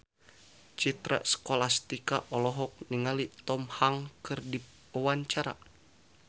Citra Scholastika olohok ningali Tom Hanks keur diwawancara